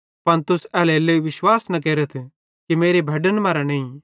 पन तुस एल्हेरेलेइ विश्वास न केरथ कि मेरी भैड्डन मरां नईं